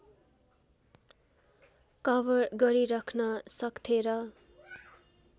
cover गरिरख्न सक्थे र